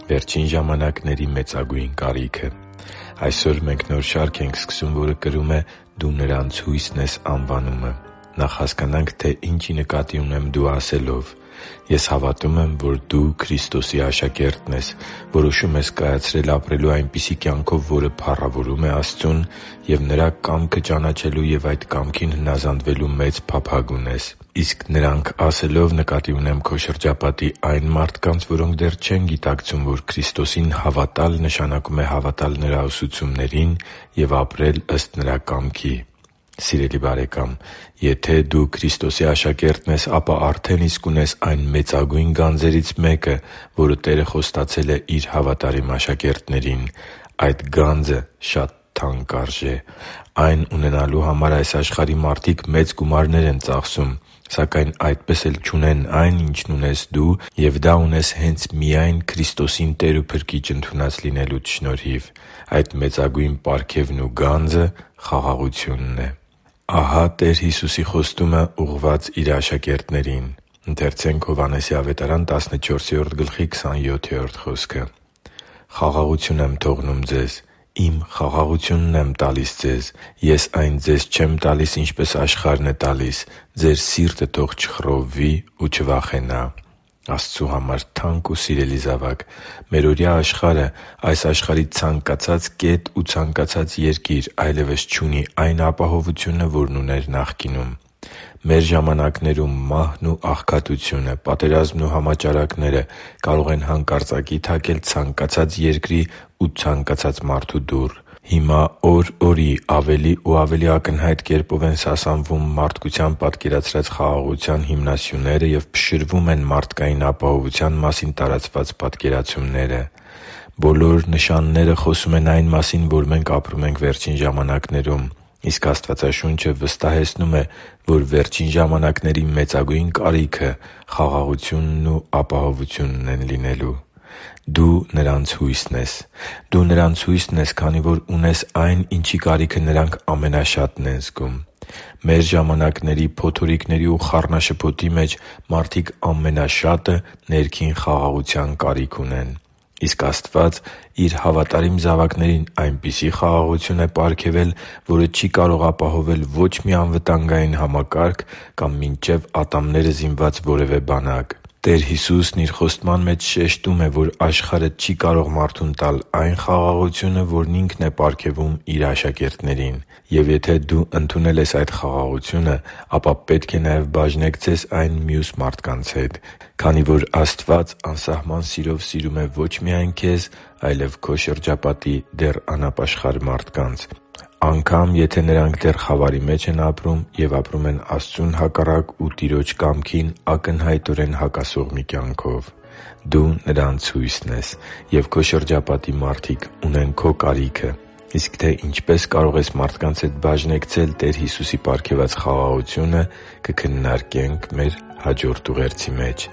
Վերջին ժամանակների մեծագույն կարիքը Այսօր մենք նոր շարք ենք սկսում, որը կրում է «Դու նրանց հույսն ես․․․»անվանումը։ Նախ հասկանանք, թե ի՞նչ նկատի ունեմ՝ «դու» ասելով։ Ես հավատում եմ, որ դու Քրիստոսի աշակերտն ես, որոշում ես կայացրել ապրելու այնպիսի կյանքով, որը փառավորում է Աստծուն, և Նրա կամքը ճանաչելու և այդ կամքին հնազանդվելու մեծ փափագ ունես։ Իսկ «նրանք» ասելով՝ նկատի ունեմ քո շրջապատի այն մարդկանց, որոնք դեռ չեն գիտակցում, որ Քրիստոսին հավատալ նշանակում է հավատալ Նրա ուսուցումներին և ապրել ըստ Նրա կամքի։ Սիրելի՛ *|FNAME|*, եթե դու Քրիստոսի աշակերտն ես, ապա արդեն իսկ ունես այն մեծագույն գանձերից մեկը, որը Տերը խոստացել է Իր հավատարիմ աշակերտներին։ Այդ գանձը շատ թանկ արժե։ Այն ունենալու համար այս աշխարհի մարդիկ մեծ գումարներ են ծախսում, սակայն այդպես էլ չունեն այն, ինչն ունես դու, և դա ունես հե՛նց միայն Քրիստոսին Տեր ու Փրկիչ ընդունած լինելուդ շնորհիվ։ Այդ մեծագույն պարգևն ու գանձը խաղաղությունն է։ Ահա՛ Տեր Հիսուսի խոստումը՝ ուղղված Իր աշակերտներին․ «Խաղաղություն եմ թողնում ձեզ, Իմ խաղաղությունն եմ տալիս ձեզ. Ես այն ձեզ չեմ տալիս, ինչպես աշխարհն է տալիս. ձեր սիրտը թող չխռովվի ու չվախենա» (Հովհաննես 14․27): Աստծու համար թանկ ու սիրելի՛ *|FNAME|*, մերօրյա աշխարհը՝ այս աշխարհի ցանկացած կետ ու ցանկացած երկիր, այլևս չունի այն ապահովությունը, որն ուներ նախկինում։ Մեր ժամանակներում մահն ու աղքատությունը, պատերազմն ու համաճարակները կարող են հանկարծակի թակել ցանկացած երկրի ու ցանկացած մարդու դուռ։ Հիմա օր օրի ավելի ու ավելի ակնհայտ կերպով են սասանվում մարդկության պատկերացրած խաղաղության հիմնասյուները և փշրվում են մարդկային ապահովության մասին տարածված պատկերացումները։ Բոլոր նշանները խոսում են այն մասին, որ մենք ապրում ենք վերջին ժամանակներում, իսկ Աստվածաշունչը վստահեցնում է, որ վերջին ժամանակների մեծագույն կարիքը խաղաղությունն ու ապահովությունն են լինելու։ «Դու նրանց հույսն ես․․․»։ Դու նրանց հույսն ես, քանի որ ունես այն, ինչի կարիքը նրանք ամենաշատն են զգում։ Մեր ժամանակների փոթորիկների ու խառնաշփոթի մեջ մարդիկ ամենաշատը ներքին խաղաղության կարիք են զգում։ Իսկ Աստված Իր հավատարիմ զավակներին այնպիսի խաղաղություն է պարգևել, որը չի կարող ապահովել ոչ մի անվտանգային համակարգ կամ մինչև ատամները զինված որևԷ բանակ։ Տեր Հիսուսն Իր խոստման մեջ շեշտում է, որ աշխարհը չի կարող մարդուն տալ այն խաղաղությունը, որն Ինքն է պարգևում Իր աշակերտներին։ Եվ եթե դու ընդունել ես այդ խաղաղությունը, ապա պետք է նաև բաժնեկցես այն մյուս մարդկանց հետ, քանի որ Աստված անսահման սիրով սիրում է ոչ միայն քեզ, այլև քո շրջապատի դեռ անապաշխար մարդկանց, անգամ եթե նրանք դեռ խավարի մեջ են և ապրում են Աստծուն հակառակ և Տիրոջ կամքին ակնհայտորեն հակասող մի կյանքով։ «Դու նրանց հույսն ես․․․», և քո շրջապատի մարդիկ ունեն քո կարիքը։ Իսկ թե ինչպե՛ս կարող ես մարդկանց հետ բաժնեկցել Տեր Հիսուսի պարգևած խաղաղությունը, կքննարկենք մեր հաջորդ ուղերձի մեջ